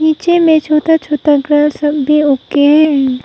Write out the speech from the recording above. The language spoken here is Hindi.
नीचे में छोटा छोटा घास सब भी रखे हैं।